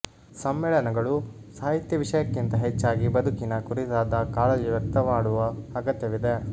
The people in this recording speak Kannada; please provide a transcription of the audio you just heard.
ಸಮ್ಮೇಳನಗಳು ಸಾಹಿತ್ಯ ವಿಷಯಕ್ಕಿಂತ ಹೆಚ್ಚಾಗಿ ಬದುಕಿನ ಕುರಿತಾದ ಕಾಳಜಿ ವ್ಯಕ್ತ ಮಾಡುವ ಅಗತ್ಯವಿದೆ